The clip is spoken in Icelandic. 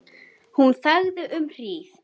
Hún þagði um hríð.